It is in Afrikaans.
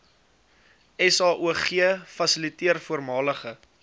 saog fasiliteerder voormalige